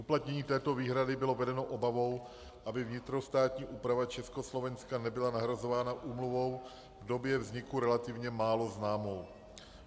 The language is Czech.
Uplatnění této výhrady bylo vedeno obavou, aby vnitrostátní úprava Československa nebyla nahrazována úmluvou v době vzniku relativně málo známou.